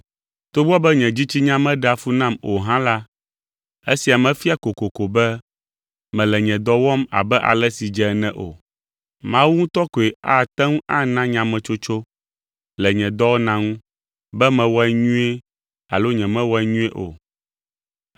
Togbɔ be nye dzitsinya meɖea fu nam o hã la, esia mefia kokoko be mele nye dɔ wɔm abe ale si dze ene o. Mawu ŋutɔ koe ate ŋu ana nyametsotso le nye dɔwɔna ŋu, be mewɔe nyuie alo nyemewɔe nyuie o.